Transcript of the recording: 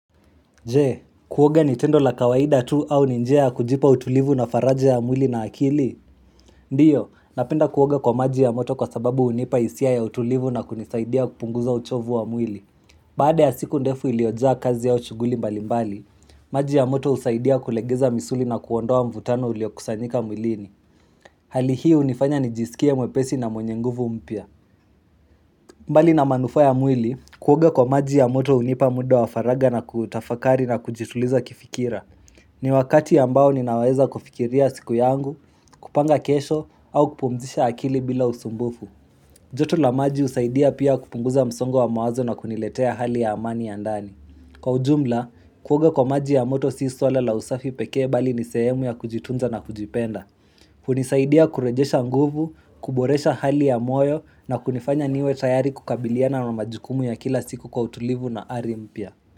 Je, kuoga ni tendo la kawaida tu au ni njia kujipa utulivu na faraja ya mwili na akili? Ndio, napenda kuoga kwa maji ya moto kwa sababu hunipa hisia ya utulivu na kunisaidia kupunguza uchovu wa mwili. Baada ya siku ndefu iliyojaa kazi au shughuli mbalimbali, maji ya moto husaidia kulegeza misuli na kuondoa mvutano uliokusanyika mwilini. Hali hii hunifanya nijisikie mwepesi na mwenye nguvu mpya. Mbali na manufa ya mwili, kuoga kwa maji ya moto hunipa muda wa faraga na kutafakari na kujituliza kifikira. Ni wakati ambao ninaweza kufikiria siku yangu, kupanga kesho au kupumzisha akili bila usumbufu. Joto la maji husaidia pia kupunguza msongo wa mawazo na kuniletea hali ya amani ya ndani. Kwa ujumla, kuoga kwa maji ya moto si swala la usafi pekee, bali ni sehemu ya kujitunza na kujipenda. Hunisaidia kurejesha nguvu, kuboresha hali ya moyo na kunifanya niwe tayari kukabiliana na majukumu ya kila siku kwa utulivu na ari mpya.